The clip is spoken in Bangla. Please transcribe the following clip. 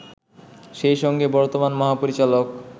সেই সঙ্গে বর্তমান মহাপরিচালক